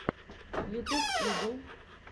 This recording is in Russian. ютюб игл